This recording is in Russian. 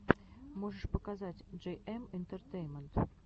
можешь показать джейэм интертеймент